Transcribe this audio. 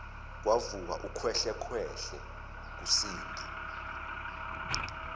kwavuka ukhwehlekhwehle kusindi